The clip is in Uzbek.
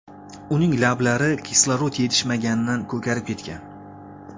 Uning lablari kislorod yetishmaganidan ko‘karib ketgan.